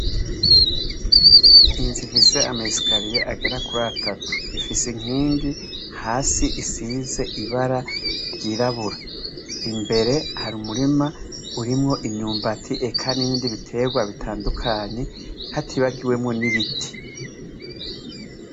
Inzu ifise ama esikaliye agera kuratatu ifise inkingi hasi isize ibara ry'irabura, imbere hari umurima urimwo imyumbati eka n'ibiindi bitegwa bitandukanye hatibagiwemwo n'ibiti.